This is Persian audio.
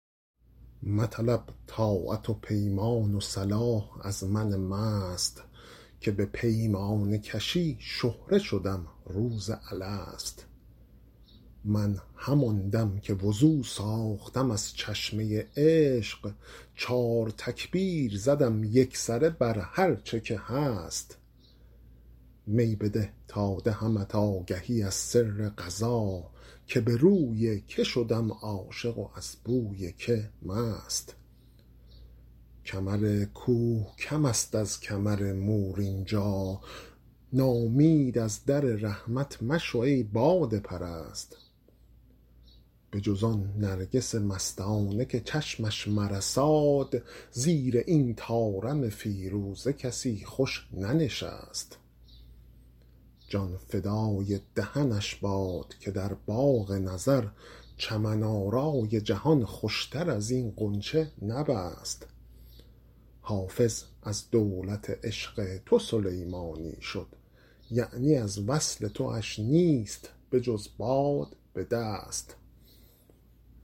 مطلب طاعت و پیمان و صلاح از من مست که به پیمانه کشی شهره شدم روز الست من همان دم که وضو ساختم از چشمه عشق چار تکبیر زدم یکسره بر هرچه که هست می بده تا دهمت آگهی از سر قضا که به روی که شدم عاشق و از بوی که مست کمر کوه کم است از کمر مور اینجا ناامید از در رحمت مشو ای باده پرست بجز آن نرگس مستانه که چشمش مرساد زیر این طارم فیروزه کسی خوش ننشست جان فدای دهنش باد که در باغ نظر چمن آرای جهان خوشتر از این غنچه نبست حافظ از دولت عشق تو سلیمانی شد یعنی از وصل تواش نیست بجز باد به دست